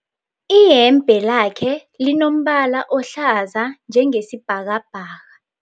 Eyembe lakhe linombala ohlaza njengesibhakabhaka.